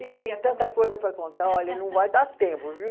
E tem tanta coisa para contar, olha, não vai dar tempo, viu?